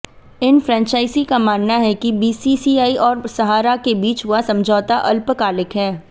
इन franchisee का मानना है कि बीसीसीआई और सहारा के बीच हुआ समझौता अल्पकालिक है